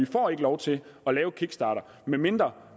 får lov til at lave kickstarter medmindre